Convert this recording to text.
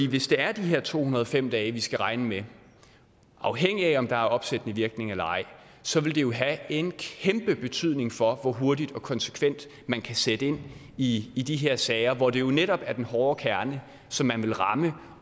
hvis det er de her to hundrede og fem dage vi skal regne med afhængigt af om der er opsættende virkning eller ej så vil det jo have en kæmpe betydning for hvor hurtigt og konsekvent man kan sætte ind i i de her sager hvor det jo netop er den hårde kerne som man vil ramme